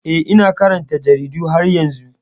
Eh, ina karanta jaridu har yanzu.